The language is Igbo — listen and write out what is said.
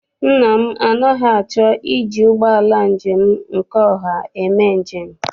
Nna m anaghị achọ iji ụgbọala njem nke ọha eme njem.